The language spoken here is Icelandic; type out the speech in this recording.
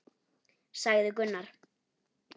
sagði Gunnar.